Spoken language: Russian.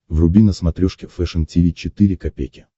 вруби на смотрешке фэшн ти ви четыре ка